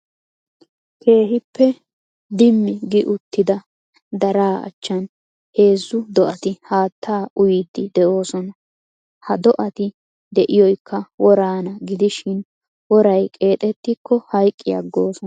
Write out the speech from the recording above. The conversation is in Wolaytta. Keehippe Dimmi gi uttida daraa achchan heezzu do'ati haattaa uyiiddi de'oosona. Ha do'ati de'iyoykka woraana gidishin woray qeexettikko hayiqqi aggoosona